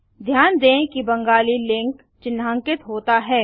ध्यान दें कि बेंगाली लिंक चिन्हांकित होता है